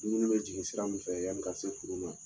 Dumuni bɛ jigin sira min fɛ yani ka se furu ma.